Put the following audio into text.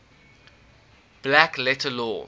black letter law